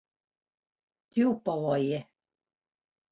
Djúpavogi